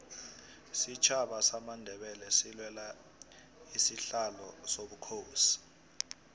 isitjhaba samandebele silwela isihlalo sobukhosi